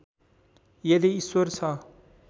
यदि ईश्वर छ